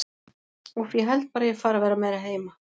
Úff, ég held bara að ég fari að vera meira heima.